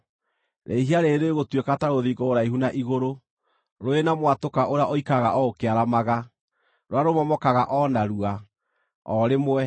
rĩhia rĩĩrĩ rĩgũtuĩka ta rũthingo rũraihu na igũrũ, rũrĩ na mwatũka ũrĩa ũikaraga o ũkĩaramaga, rũrĩa rũmomokaga o narua, o rĩmwe.